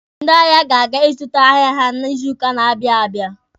Ndị ahịa ga-aga ịzụta ahịa ha n'izuuka na-abịa abịa.